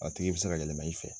A tigi bi se ka yɛlɛma i fɛ